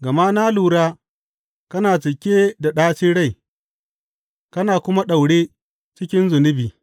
Gama na lura kana cike da ɗacin rai kana kuma daure cikin zunubi.